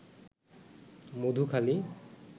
Madhukhali